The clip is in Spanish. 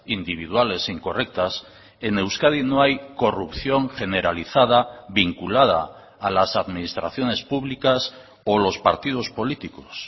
individuales incorrectas en euskadi no hay corrupción generalizada vinculada a las administraciones públicas o los partidos políticos